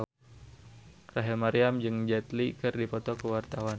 Rachel Maryam jeung Jet Li keur dipoto ku wartawan